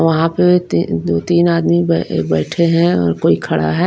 वहां पे तीन दो तीन आदमी बैठे हैं और कोई खड़ा है।